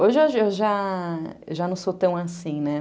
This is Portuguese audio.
Hoje eu já já já não sou tão assim, né?